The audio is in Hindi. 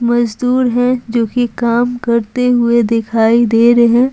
मजदूर है जो कि काम करते हुए दिखाई दे रहे है।